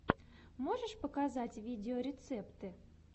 можешь показать видеорецепты